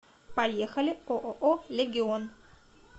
поехали ооо легион